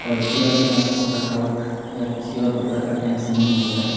और पूरा दिन आपको थकावट या किसी और प्रकार का टेंशन नहीं होता है।